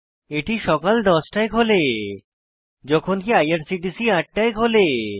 এটি সকাল 10 টায় খোলে যখনকি আইআরসিটিসি 8 টায় খোলে